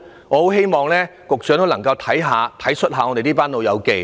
我很希望局長能夠體恤一下這群"老友記"。